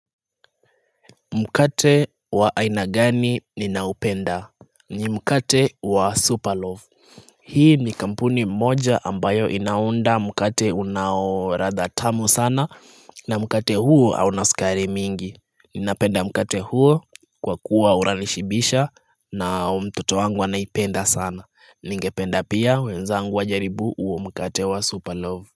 Mkate wa aina gani ninaupenda ni mkate wa super loaf Hii ni kampuni moja ambayo inaunda mkate unaoratha tamu sana na mkate huo au na sukari mingi Ninapenda mkate huo kwa kuwa unanishibisha na mtoto wangu anaipenda sana ningependa pia wenzangu wajaribu huo mkate wa super loaf.